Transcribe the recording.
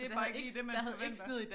Det bare ikke lige det man forventer